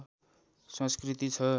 संस्‍कृति छ